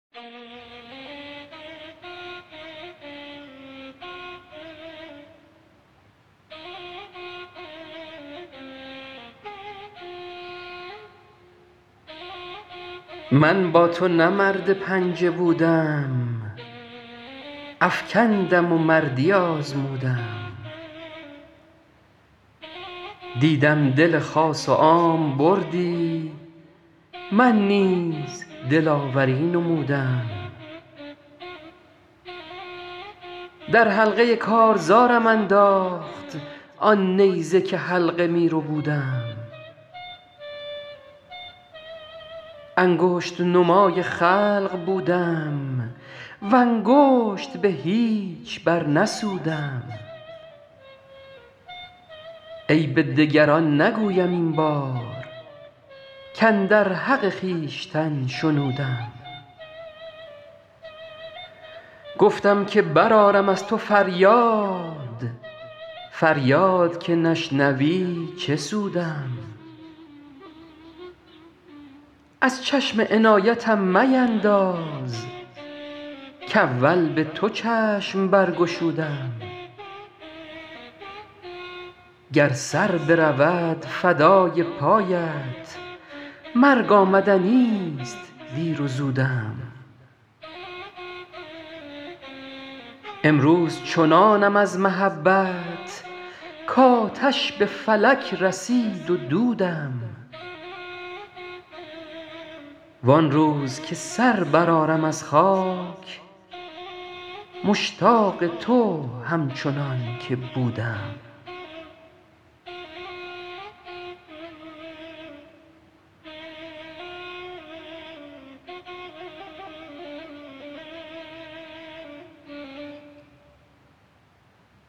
من با تو نه مرد پنجه بودم افکندم و مردی آزمودم دیدم دل خاص و عام بردی من نیز دلاوری نمودم در حلقه کارزارم انداخت آن نیزه که حلقه می ربودم انگشت نمای خلق بودم و انگشت به هیچ برنسودم عیب دگران نگویم این بار کاندر حق خویشتن شنودم گفتم که برآرم از تو فریاد فریاد که نشنوی چه سودم از چشم عنایتم مینداز کاول به تو چشم برگشودم گر سر برود فدای پایت مرگ آمدنیست دیر و زودم امروز چنانم از محبت کآتش به فلک رسید و دودم وان روز که سر برآرم از خاک مشتاق تو همچنان که بودم